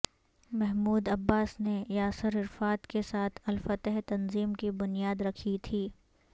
Mahmood Abbas نے Yasser Arafat کے ساتھ الفتح تنظیم کی بنیاد رکھی تھی